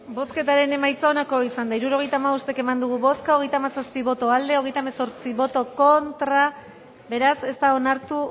bozketaren emaitza onako izan da hirurogeita hamabost eman dugu bozka hogeita hamazazpi boto aldekoa treinta y ocho contra beraz ez da onartu